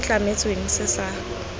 se se tlametsweng se sa